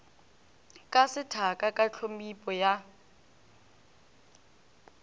ka sethaka ka tphomipo ya